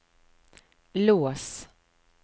lås